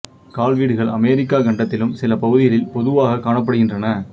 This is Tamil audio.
கால் வீடுகள் அமெரிக்காக் கண்டத்திலும் சில பகுதிகளில் பொதுவாகக் காணப்படுகின்றன